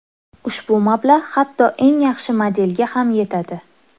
Ushbu mablag‘ hatto eng yaxshi modelga ham yetadi.